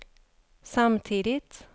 samtidigt